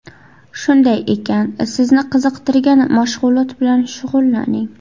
Shunday ekan, sizni qiziqtirgan mashg‘ulot bilan shug‘ullaning.